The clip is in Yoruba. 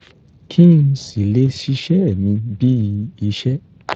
kí n sì lè ṣiṣẹ́ mi bíi iṣẹ́